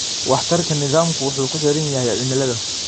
Waxtarka nidaamku wuxuu ku xiran yahay cimilada.